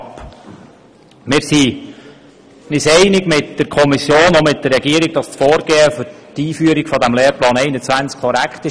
Wir gehen mit der Regierung und der Kommission darin einig, dass das Vorgehen zur Einführung des Lehrplans 21 korrekt war.